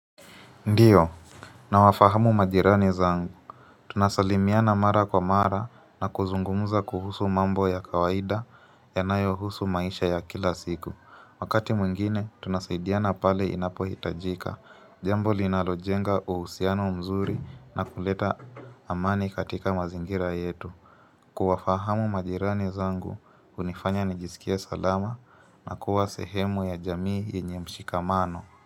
Ndiyo, Nawafahamu majirani zangu. Tunasalimiana mara kwa mara na kuzungumuza kuhusu mambo ya kawaida yanayohusu maisha ya kila siku. Wakati mwingine, tunasaidiana pale inapohitajika. Jambo linalojenga uhusiano mzuri na kuleta amani katika mazingira yetu. Kuwafahamu majirani zangu, hunifanya nijisikie salama na kuwa sehemu ya jamii yenye mshikamano.